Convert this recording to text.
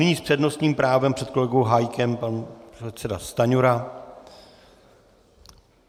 Nyní s přednostním právem před kolegou Hájkem pan předseda Stanjura.